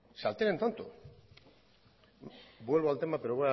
vuelvo al tema